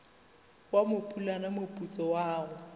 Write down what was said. wa mopulana moputso wa go